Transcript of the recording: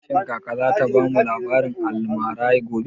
Shin kaka za ta bamu labarin almara gobe?